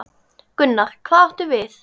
Gunnar: Hvað áttu við?